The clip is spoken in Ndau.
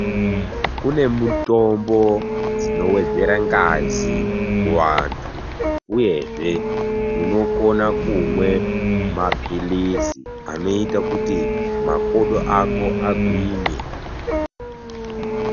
Kune mutombo dzinowedzera ngazi kuvanthu uyezve unokona kumwe maphilizi anoita kuti makodo ako agwinye.